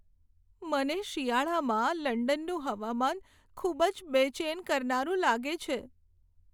મને શિયાળામાં લંડનનું હવામાન ખૂબ જ બેચેન કરનારું લાગે છે.